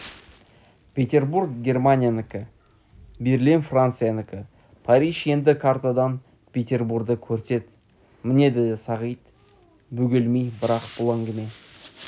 петербур германиянікі берлин франциянікі париж енді картадан петербурді көрсет міне деді сағит бөгелмей бірақ бұл әңгіме